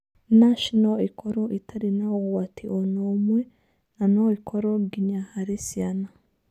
NASH no ĩkorũo ĩtarĩ na ũgwati o na ũmwe na no ĩkorũo nginya harĩ ciana.